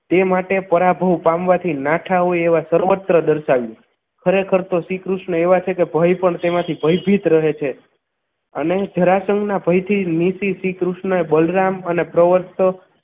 તે માટે પરાભવ પામવાથી નાઠા હોય એવા સર્વત્ર દર્શાવ્યું ખરેખર તો શ્રીકૃષ્ણ એવા છે કે ભય પણ તેમાંથી ભયભીત રહે છે અને જરાસંઘના ભયથી નીસી શ્રીકૃષ્ણ બલરામ અને પ્રવસ્થન